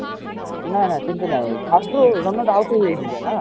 ନା ନା ସେମିତି ନାହି first ରୁ runner out ହେଇହେଇ ଯିବେ ନା